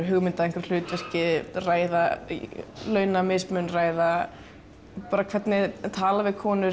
hugmynd að hlutverki ræða launamismun ræða hvernig er talað við konur